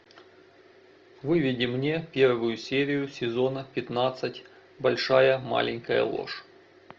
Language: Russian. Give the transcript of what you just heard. выведи мне первую серию сезона пятнадцать большая маленькая ложь